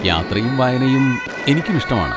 യാത്രയും വായനയും എനിക്കുമിഷ്ടമാണ്.